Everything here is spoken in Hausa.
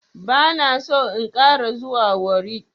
Bana so in ƙara zuwa warri.